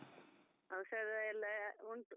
ಔಷಧಯೆಲ್ಲಾ ಉಂಟು.